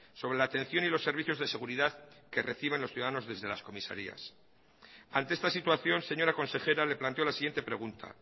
sobre la atención y los servicios de seguridad que reciben los ciudadanos desde las comisarías ante esta situación señora consejera le planteo la siguiente pregunta